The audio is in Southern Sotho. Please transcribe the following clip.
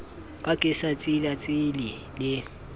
ka ke sa tsilatsile le